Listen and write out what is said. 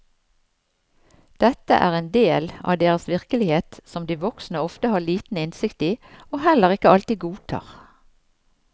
Dette er en del av deres virkelighet som de voksne ofte har liten innsikt i og heller ikke alltid godtar.